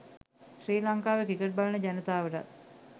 ශ්‍රී ලංකාවේ ක්‍රිකට් බලන ජනතාවටත්